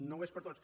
no ho és per a tots